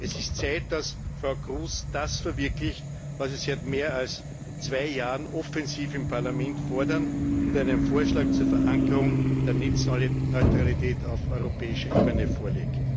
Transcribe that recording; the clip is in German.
Es ist Zeit, dass Frau Kroes das verwirklicht, was wir seit mehr als zwei Jahren offensiv im Parlament fordern, und einen Vorschlag zur Verankerung der Netzneutralität auf europäischer Ebene vorlegt!